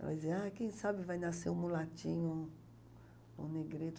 Ela dizia, ai, quem sabe vai nascer um mulatinho, um um negreto.